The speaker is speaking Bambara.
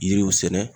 Yiriw sɛnɛ